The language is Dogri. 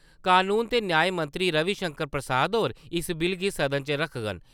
कनून ते न्यांऽ मंत्री रविशंकर प्रसाद होर इस बिल गी सदन च रक्खङन।